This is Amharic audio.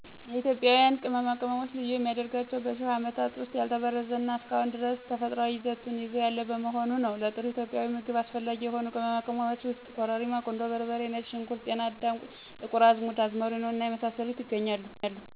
የኢትዮጵያን ቅመማ ቅመም ልዩ የሚያደርገው በሽህ አመታት ዉስጥ ያልተበረዘ እና እስከ አሁን ድረስ ተፈጥሯዊ ይዘቱን ይዞ ያለ በመሆኑ ነው። ለጥሩ ኢትዮጵያዊ ምግብ አስፈላጊ የሆኑ ቅመማ ቅመሞች ውስጥ ኮረሪማ ; ቁንዶ በርበሬ ; ነጭ ሽንኩርት ; ጤና አዳም ; ጥቁር አዝሙድ; አዝመሪኖ እና የመሳሰሉት ያገኛሉ።